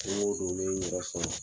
yɛrɛ